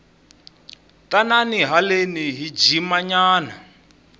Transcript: tanani haleni hi jima nyana